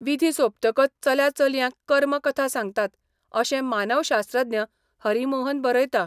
विधी सोंपतकच चल्या चलयांक कर्म कथा सांगतात अशें मानवशास्त्रज्ञ हरी मोहन बरयता.